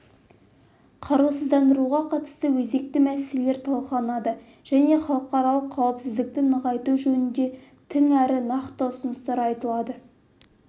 қарусыздандыруға қатысты өзекті мәселелер талқыланады және халықаралық қауіпсіздікті нығайту жөнінді тың әрі нақты ұсыныстар айтылады